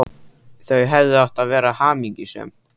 Þau hefðu átt að vera hamingjusöm.